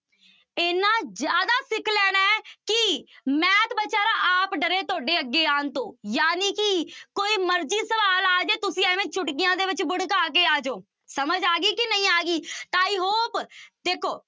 ਇੰਨਾ ਜ਼ਿਆਦਾ ਸਿੱਖ ਲੈਣਾ ਹੈ ਕਿ math ਬੇਚਾਰਾ ਆਪ ਡਰੇ ਤੁਹਾਡੇ ਅੱਗੇ ਆਉਣ ਤੋਂ ਜਾਣੀ ਕਿ ਕੋਈ ਮਰਜ਼ੀ ਸਵਾਲ ਆ ਜਾਏ, ਤੁਸੀਂ ਐਵੇਂ ਚੁਟਕੀਆਂ ਦੇ ਵਿੱਚ ਬੜਕਾ ਕੇ ਆ ਜਾਓ, ਸਮਝ ਆ ਗਈ ਕਿ ਨਹੀਂ ਆ ਗਈ ਤਾਂ i hope ਦੇਖੋ